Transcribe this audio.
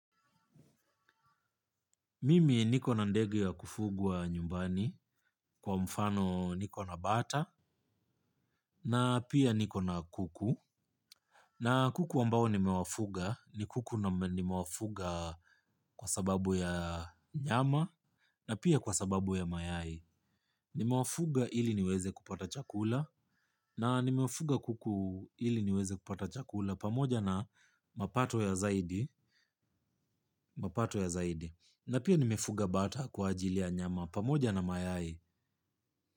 Mimi niko na ndege ya kufugwa nyumbani kwa mfano niko na bata na pia niko na kuku. Na kuku ambao nimewafuga ni kuku nimewafuga kwa sababu ya nyama na pia kwa sababu ya mayai. Nimewafuga ili niweze kupata chakula na nimewafuga kuku ili niweze kupata chakula pamoja na mapato ya zaidi. Na pia nimefuga bata kwa ajili ya nyama pamoja na mayai.